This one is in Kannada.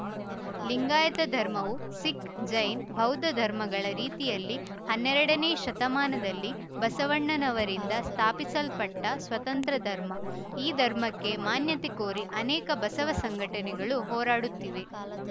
ಲಿಂಗಾಯತ ಧರ್ಮವು ಸಿಖ್‌ ಜೈನ್‌ ಬೌದ್ಧ ಧರ್ಮಗಳ ರೀತಿಯಲ್ಲಿ ಹನ್ನೆರಡನೇ ಶತಮಾನದಲ್ಲಿ ಬಸವಣ್ಣನವರಿಂದ ಸ್ಥಾಪಿಸಲ್ಪಟ್ಟಸ್ವತಂತ್ರ ಧರ್ಮ ಈ ಧರ್ಮಕ್ಕೆ ಮಾನ್ಯತೆ ಕೋರಿ ಅನೇಕ ಬಸವ ಸಂಘಟನೆಗಳು ಹೋರಾಡುತ್ತಿವೆ